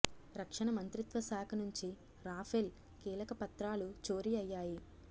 రక్షణ మంత్రిత్వశాఖ నుంచి రాఫెల్ కీలక పత్రాలు చోరీ అయ్యాయి